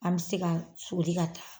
An me se ka soli ka taa